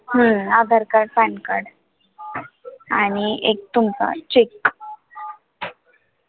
हम्म AADHAR card, PAN card आणि एक तुमचा cheque